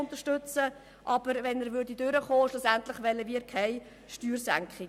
Würde er aber angenommen, wünschten wir keine Steuersenkung.